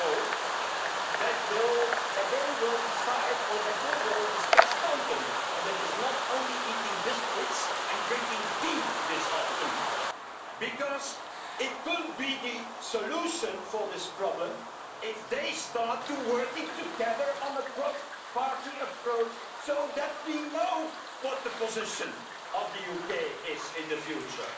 I hope that they will decide or that they will discuss content, and that it is not just eating biscuits and drinking tea this afternoon, because it could be the solution to this problem if they start working together on a cross party approach so that we know what the position of the UK is in the future.